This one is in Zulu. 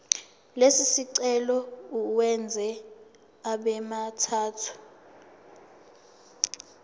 lesicelo uwenze abemathathu